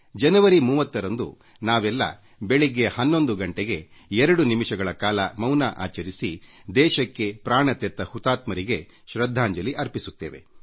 ಜನವರಿ 30 ರಂದು ನಾವೆಲ್ಲ ಬೆಳಗ್ಗೆ 11 ಗಂಟೆಗೆ ದೇಶಕ್ಕೆ ಪ್ರಾಣವನ್ನೇ ಕೊಟ್ಟ ಹುತಾತ್ಮರಿಗೆ 2 ನಿಮಿಷಗಳ ಕಾಲ ಮೌನ ಆಚರಿಸುವ ಮೂಲಕ ಶೃದ್ಧಾಂಜಲಿ ಅರ್ಪಿಸೋಣ